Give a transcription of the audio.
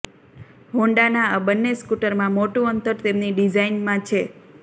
હોન્ડાના આ બંને સ્કૂટરમાં મોટું અંતર તેમની ડિઝાઈનમાં છે